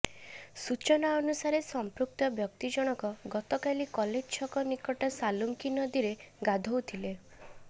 ସୂଚନା ଅନୁସାରେ ସମ୍ପୃକ୍ତ ବ୍ୟକ୍ତି ଜଣକ ଗତକାଲି କଲେଜ ଛକ ନିକଟ ସାଲୁଙ୍କୀ ନଦୀରେ ଗାଧୋଉଥିଲେ